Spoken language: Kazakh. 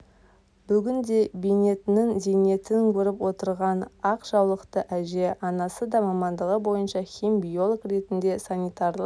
бүгінде бейнетінің зейнетін көріп отырған ақ жаулықты әже анасы да мамандығы бойынша хим-биолог ретінде санитарлық